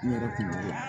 N yɛrɛ kun